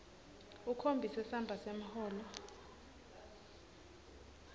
ukhombise samba semholo